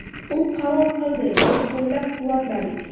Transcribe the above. U qaror qildi, biz qo‘llab-quvvatladik.